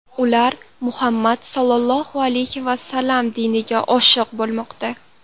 Ular Muhammad Sollallohu alayhi vasallam diniga oshiq bo‘lmoqda.